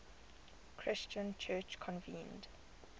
christian church convened